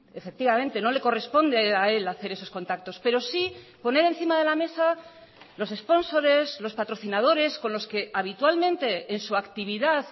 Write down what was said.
efectivamente no le corresponde a él hacer esos contactos pero sí poner encima de la mesa los espónsores los patrocinadores con los que habitualmente en su actividad